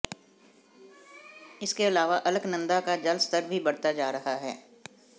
इसके अलावा अलकनंदा का जलस्तर भी बढ़ता जा रहा है